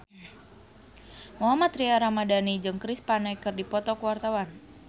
Mohammad Tria Ramadhani jeung Chris Pane keur dipoto ku wartawan